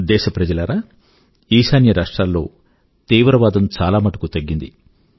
దేశ ప్రజలారా ఈశాన్య రాష్ట్రాల్లో తీవ్రవాదం చాలామటుకు తగ్గింది